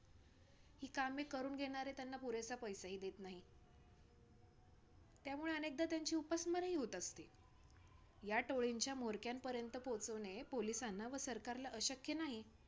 ही कामे करून घेणारे त्यांना पुरेसा पैसाही देत नाहीत. त्यामुळे अनेकदा त्यांची उपासमारही होत असते. या टोळींच्या म्होरक्यांपर्यंत पोहचवणे police ना व सरकारला अशक्य नाही.